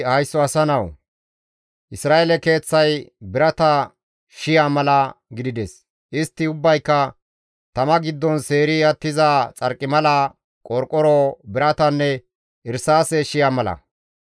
«Haysso asa nawu! Isra7eele keeththay birata shi7a mala gidides; istti ubbayka tama giddon seeri attiza xarqimala, qorqoro, biratanne irsaase shi7a mala.